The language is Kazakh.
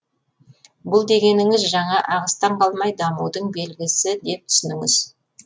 бұл дегеніңіз жаңа ағыстан қалмай дамудың белгісі деп түсініңіз